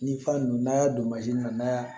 Ni fa don n'a y'a don na